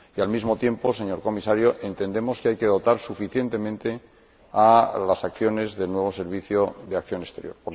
Y al mismo tiempo, señor Comisario, entendemos que hay que dotar suficientemente las acciones del nuevo Servicio Europeo de Acción Exterior.